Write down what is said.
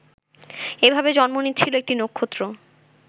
এভাবে জন্ম নিচ্ছিল একটি নক্ষত্র